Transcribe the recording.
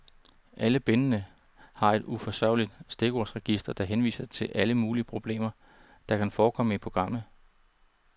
Alle bindene har et udførligt stikordsregister, der henviser til alle mulige problemer, der kan forekomme i programmet.